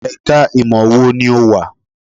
Ẹ̀ka ìmọ̀ wo ni ò wà?